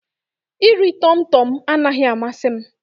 Iri Tọmị Tọmị anaghị amasị m.